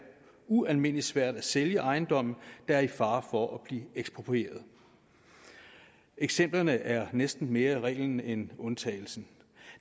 ualmindelig svært at sælge ejendomme der er i fare for at blive eksproprieret eksemplerne er næsten mere reglen end undtagelsen